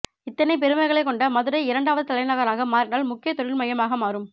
இத்தனை பெருமைகளை கொண்ட மதுரை இரண்டாவது தலைநகராக மாறினால் முக்கிய தொழில் மையமாக மாறும்